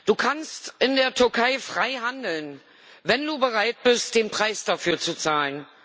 Du kannst in der Türkei frei handeln, wenn du bereit bist, den Preis dafür zu zahlen.